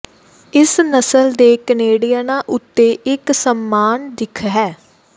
ਇਸ ਨਸਲ ਦੇ ਕੈਨੇਡੀਅਨਾਂ ਉੱਤੇ ਇੱਕ ਸਮਾਨ ਦਿੱਖ ਹੈ